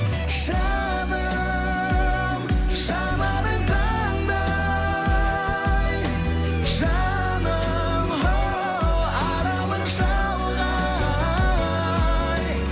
жаным жанарың таңдай жаным оу аралың шалғай